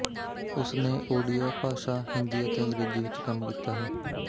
ਉਸਨੇ ਓਡੀਆ ਭਾਸ਼ਾ ਹਿੰਦੀ ਅਤੇ ਅੰਗਰੇਜ਼ੀ ਵਿੱਚ ਕੰਮ ਕੀਤਾ ਹੈ